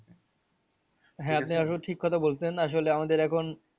আপনি আসলে ঠিক কথা বলছেন আসলে আমাদের এখন